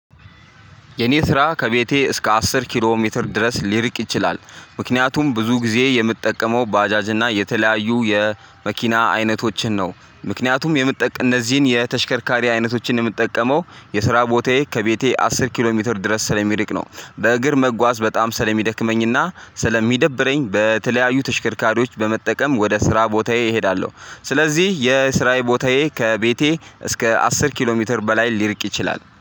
የኔ ስራ ከቤቴ እስከ አስር ኪሎ ሜትር ድረስ ሊርቅ ይችላል ምክንያቱም ብዙ ጊዜ የምጠቀመው ባጃጅና እና የተለያዩ የመኪና አይነቶችን ነው ምክንያቱም የምትጠቅ እነዚህን የተሽከርካሪ አይነቶችን የምጠቀመው የስራ ቦታዬ ከቤቴ አስር ኪሎ ሜትር ድረስ ስለሚርቅ ነው። በእግር መጓዝ በጣም ስለሚደክመኝና ስለሚደብረኝ በተለያዩ ተሽከርካሪዎች በመጠቀም ወደ ስራ ቦታዬ እሄዳለሁ። ስለዚህ የስራዬ ቦታዬ ከቤቴ እስከ አስር ኪሎ ሜትር በላይ ሊርቅ ይችላል